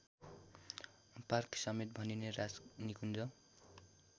पार्कसमेत भनिने राजनिकुञ्ज